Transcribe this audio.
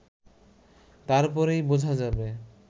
তারপরই বোঝা যাবে